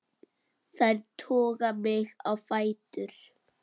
Þær toga mig á fætur.